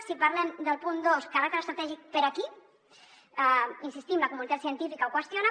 si parlem del punt dos caràcter estratègic per a qui hi insistim la comunitat científica ho qüestiona